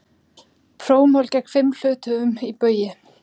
Prófmál gegn fimm hluthöfum í Baugi